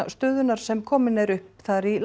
stöðunnar sem komin er upp þar í